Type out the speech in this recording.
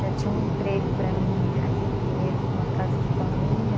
Já tinha um emprego para mim aqui em Pinheiros, numa casa de família.